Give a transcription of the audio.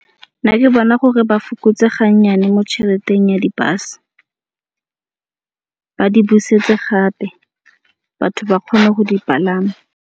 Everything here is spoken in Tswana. Nna ke bona gore ba fokotse gannyane mo tšheleteng ya di-bus. Ba di busetse gape batho ba kgone go dipalama.